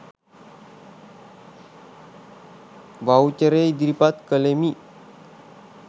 වව්චරය ඉදිරිපත් කලෙමි